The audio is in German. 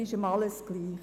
Es ist ihm alles egal.